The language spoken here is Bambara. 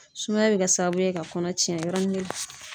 Sumaya bɛ kɛ sababu ye ka kɔnɔ cɛn yɔrɔnin kelen.